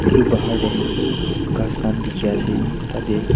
itu bahar tey ghas khan dikhi ase tatey.